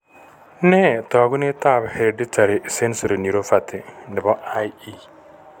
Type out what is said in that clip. Nee taakunetab hereditary sensory neuropathy nebo IE?